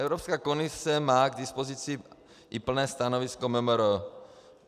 Evropská komise má k dispozici i plné stanovisko MMR.